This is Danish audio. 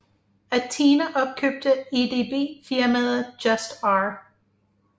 Athena opkøbte EDB firmaet Just R